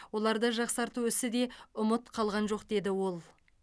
оларды жақсарту ісі де ұмыт қалған жоқ деді ол